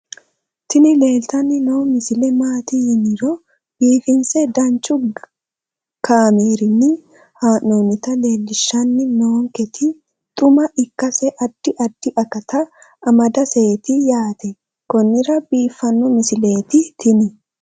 tini leeltanni noo misile maaati yiniro biifinse danchu kaamerinni haa'noonnita leellishshanni nonketi xuma ikkase addi addi akata amadaseeti yaate konnira biiffanno misileeti tini